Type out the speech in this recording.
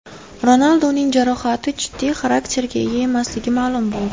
Ronalduning jarohati jiddiy xarakterga ega emasligi ma’lum bo‘ldi.